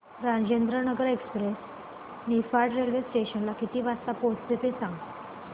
Rajendranagar express Niphad railway station ला किती वाजता पोहचते ते सांग